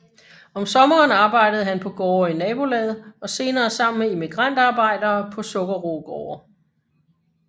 Om sommeren arbejdede han på gårde i nabolaget og senere sammen med immigrantarbejdere på sukkerroegårde